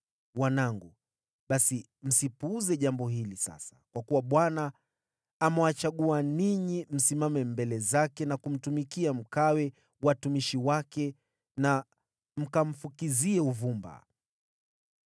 Wanangu, basi msipuuze jambo hili sasa, kwa kuwa Bwana amewachagua ninyi msimame mbele zake na kumtumikia, mkawe watumishi wake na mkamfukizie uvumba.”